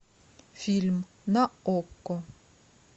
фильм на окко